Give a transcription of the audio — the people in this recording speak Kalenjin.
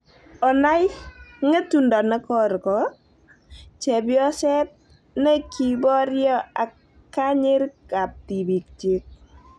Onai " ng'etundo ne korko" chebyoset na kiboryo ak kanyerik ab tibiikyik